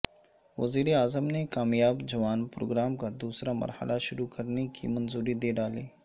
وزیراعظم نے کامیاب جوان پروگرام کا دوسرا مرحلہ شروع کرنے کی منظوری دے ڈالی